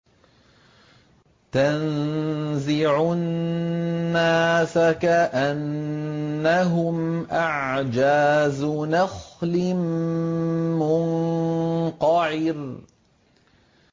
تَنزِعُ النَّاسَ كَأَنَّهُمْ أَعْجَازُ نَخْلٍ مُّنقَعِرٍ